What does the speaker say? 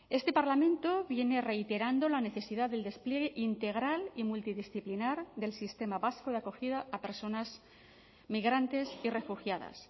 este parlamento viene reiterando la necesidad del despliegue integral y multidisciplinar del sistema vasco de acogida a personas migrantes y refugiadas